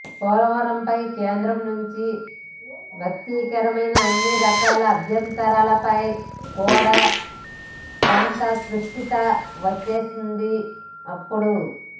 పోలవరంపై కేంద్రం నుంచి వ్యక్తమైన అన్ని రకాల అభ్యంతరాలపై కూడా కొంత స్పష్టత వచ్చేసిందిప్పుడు